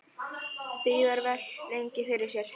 Því var velt lengi fyrir sér.